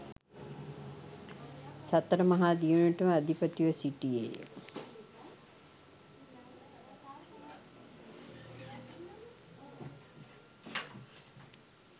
සතර මහා දිවයිනටම අධිපතිව සිටියේය.